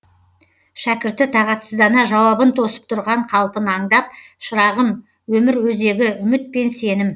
шәкірті тағатсыздана жауабын тосып тұрған қалпын аңдап шырағым өмір өзегі үміт пен сенім